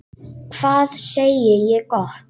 Hvað segi ég gott?